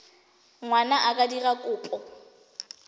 ngwana a ka dira kopo